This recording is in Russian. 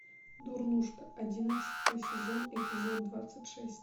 дурнушка одиннадцатый сезон эпизод двадцать шесть